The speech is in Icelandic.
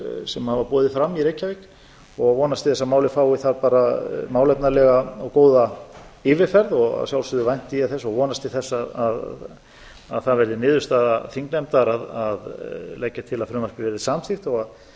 sem hafa boðið fram í reykjavík og vonast til þess að málið fái þar bara málefnalega og góða yfirferð að sjálfsögðu vænti ég þess og vonast til þess að það verði niðurstaða þingnefndar að leggja til að frumvarpið verði samþykkt þó að ekki